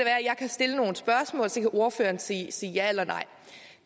stille nogle spørgsmål og så kan ordføreren sige sige ja eller nej